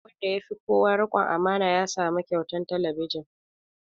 Wanda ya fi kowa riƙon amana ya samu kyautan talabijin